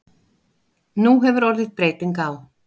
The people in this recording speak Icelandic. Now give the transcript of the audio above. Nú hefur orðið breyting á.